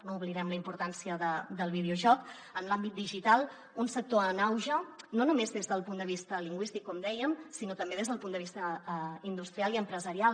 no oblidem la importància del videojoc en l’àmbit digital un sector en auge no només des del punt de vista lingüístic com dèiem sinó també des del punt de vista industrial i empresarial